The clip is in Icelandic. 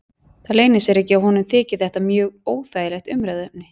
Það leynir sér ekki að honum þykir þetta mjög óþægilegt umræðuefni.